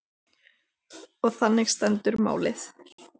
Og þannig stendur málið.